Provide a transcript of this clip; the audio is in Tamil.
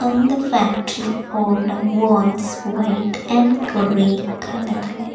அந்த ஃபேக்டரியோட வால்ஸ் வொயிட் அண்ட் கிரே கலர்ல .